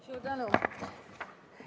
Suur tänu!